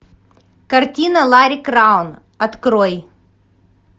картина ларри краун открой